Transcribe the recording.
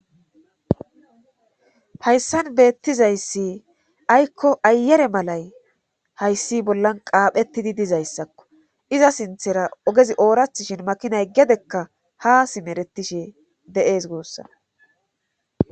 hayssan beettizayssi aykko ayere malay hayssi bollan qaaphettidi dizayssakko iza sinthera ogezi oorathshin makinay gedekka ha simeretishe de7ees goossana